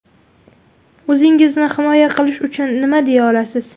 O‘zingizni himoya qilish uchun nima deya olasiz?